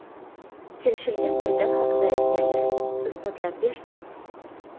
Kelishilgan o‘yinlar haqida aytganlar isbotlab bersin.